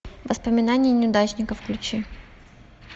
воспоминания неудачника включи